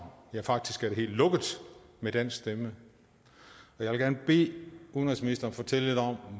ja faktisk er det helt lukket med dansk stemme jeg vil gerne bede udenrigsministeren fortælle lidt om